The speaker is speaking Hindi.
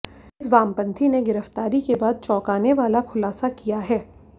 इस वामपंथी ने गिरफ्तारी के बाद चौंकाने वाला खुलासा किया है